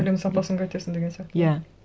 білім сапасын қайтесің деген сияқты иә